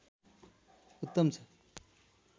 उत्तम छ